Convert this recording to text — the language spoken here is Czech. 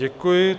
Děkuji.